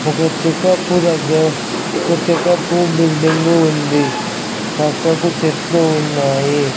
ఒక చెకప్ దగిర కొద్ది కాపు బిల్డింగు ఉంది. పక్కకు చెట్లు ఉన్నాయి.